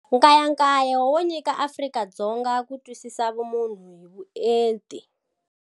Nkayakayo wo nyika Afrika-Dzonga ku twisisa vumunhu hi vuenti.